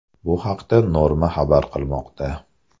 Bu haqda Norma xabar qilmoqda .